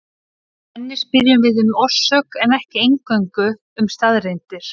Með henni spyrjum við um orsök en ekki eingöngu um staðreyndir.